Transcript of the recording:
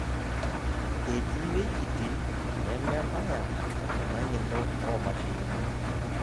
Etii wejitin nemebaya ena ng'eno oomashinini.